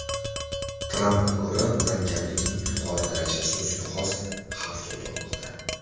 Trampga ko‘ra, murakkablikning yuqori darajasi o‘ziga xos xavf tug‘dirmoqda.